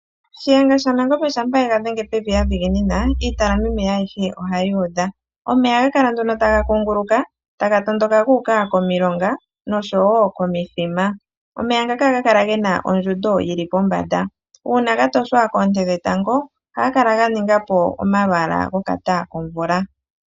Shiyenga shaNangombe shampa ega dhenge pevi a dhiginina iitala meme ayihe ohayi kala yu udha. Omeya ohaga kala nduno taga kunguluka taga tondoka gu uka komilonga noshowo komithima. Omeya ngaka ohaga kala gena ondjundo yili pombanda. Uuna ga toshwa koonte dhetango ohaga kala ga ninga po omalwaala gokata komvula.